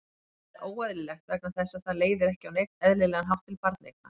Það er óeðlilegt vegna þess að það leiðir ekki á neinn eðlilegan hátt til barneigna.